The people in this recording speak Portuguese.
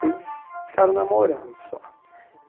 eles ficaram namorando só.